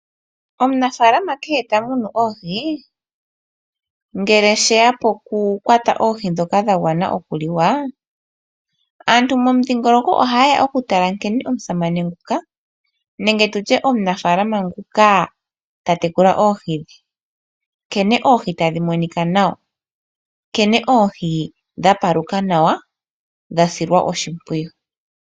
Omunafaalama kehe ta munu oohi ngele sheya poku kwata oohi ndhoka dha gwana okuliwa, aantu momundhingoloko oha yeya oku tala nkene omusamane nguka nenge tutye omunafaalama nguka ta tekula oohi dhe, nkene oohi tadhi monika nawa, nkene oohi dha paluka nawa, dha silwa oshimpwiyu.